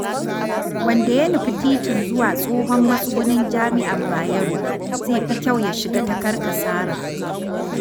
Wanda ya nufi titin zuwa Tsohon Matsugunin Jami'ar Bayero zai fi kyau ya shiga ta Karkasara